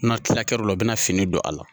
N'a tilal'o la u bɛna fini don a la